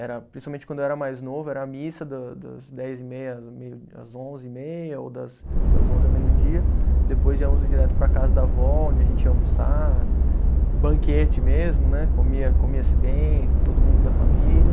Era principalmente quando eu era mais novo, era a missa do das dez e meia às meio, às onze e meia, ou das das onze ao meio-dia, depois já íamos direto para a casa da vó, onde a gente ia almoçar, banquete mesmo né, comia comia-se bem, com todo mundo da família.